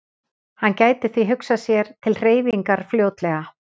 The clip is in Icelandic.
Hann gæti því hugsað sér til hreyfingar fljótlega.